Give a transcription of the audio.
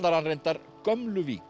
reyndar gömlu Vík